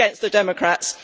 Against the Democrats.